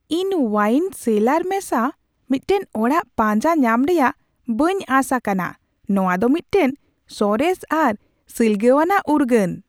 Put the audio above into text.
ᱤᱧ ᱳᱣᱟᱭᱤᱱ ᱥᱮᱞᱟᱨ ᱢᱮᱥᱟ ᱢᱤᱫᱴᱟᱝ ᱚᱲᱟᱜ ᱯᱟᱸᱡᱟ ᱧᱟᱢ ᱨᱮᱭᱟᱜ ᱵᱟᱹᱧ ᱟᱸᱥ ᱟᱠᱟᱱᱟ ᱼ ᱱᱚᱶᱟ ᱫᱚ ᱢᱤᱫᱴᱟᱝ ᱥᱚᱨᱮᱥ ᱟᱨ ᱥᱤᱞᱜᱟᱹᱣᱟᱱᱟᱜ ᱩᱨᱜᱟᱹᱱ ᱾